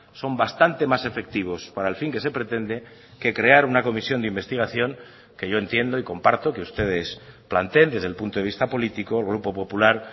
son bastante más efectivos para el fin que se pretende que crear una comisión de investigación que yo entiendo y comparto que ustedes planteen desde el punto de vista político el grupo popular